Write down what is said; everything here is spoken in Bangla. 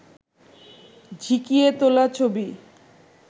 ঝিঁকিয়ে তোলা ছবি